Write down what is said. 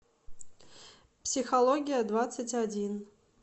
психология двадцать один